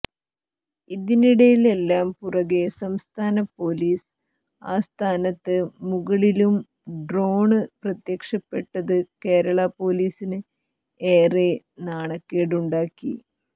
ഇതിനില്ലാം പുറകേ സംസ്ഥാന പൊലീസ് ആസ്ഥാനത്തിന് മുകളിലും ഡ്രോണ് പ്രത്യക്ഷപ്പെട്ടത് കേരളാ പൊലീസിന് ഏറെ നാണക്കേടുണ്ടാക്കി